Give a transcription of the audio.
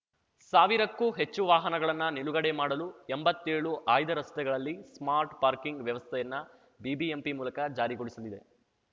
ಸಾವಿರಕ್ಕೂ ಹೆಚ್ಚು ವಾಹನಗಳನ್ನ ನಿಲುಗಡೆ ಮಾಡಲು ಎಂಬತ್ತೇಳು ಆಯ್ದ ರಸ್ತೆಗಳಲ್ಲಿ ಸ್ಮಾರ್ಟ್ ಪಾರ್ಕಿಂಗ್ ವ್ಯವಸ್ಥೆಯನ್ನ ಬಿಬಿಎಂಪಿ ಮೂಲಕ ಜಾರಿಗೊಳಿಸಲಿದೆ